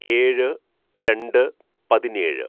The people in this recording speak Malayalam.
"ഏഴ് രണ്ട് പതിനേഴ്‌